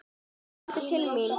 Komdu til mín!